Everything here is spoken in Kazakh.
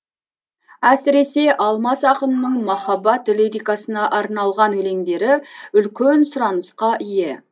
әсіресе алмас ақынның махаббат лирикасына арналған өлеңдері үлкен сұранысқа ие